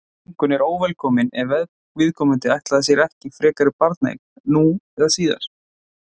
þungun er óvelkomin ef viðkomandi ætlaði sér ekki frekari barneign nú eða síðar